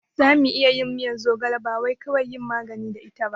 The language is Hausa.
Zamu iya yin miyan zogala bawai kawai yin magani da ita ba